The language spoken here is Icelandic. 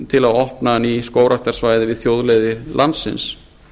til að opna ný skógræktarsvæði við þjóðleiðir landsins